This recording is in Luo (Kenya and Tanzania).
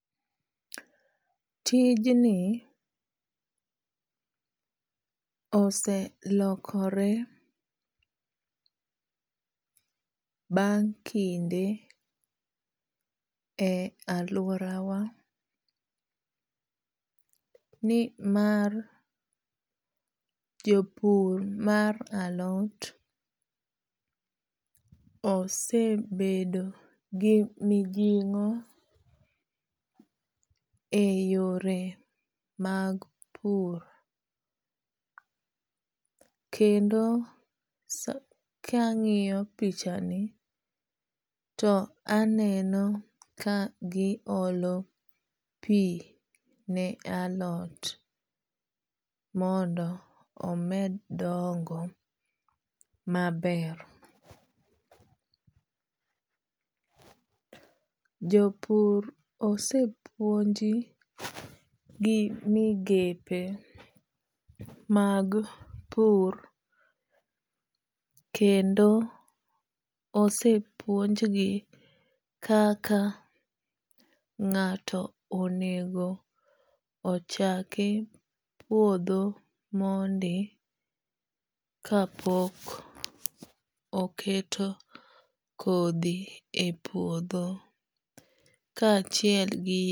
Tijni oselokore bang' kinde e lauora wa ni mar jopur mar alot osebedo gi mijing'o e yore mag pur. Kendo kang'iyo pichani to aneno ka gi olo pi ne alot mondo omed dongo maber. Jopur osepuonji gimigepe mag pur kendo osepuonj gi kaka ng'ato onego chaki puodho mondi ka pok oketo kodhi e puodho kachiel gi.